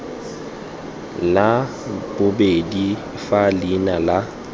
la bobedi fa leina la